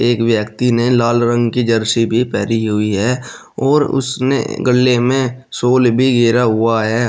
एक व्यक्ति ने लाल रंग की जर्सी भी पहनी हुई है और उसने गल्ले में सोल भी घेरा हुआ है।